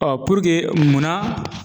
puruke munna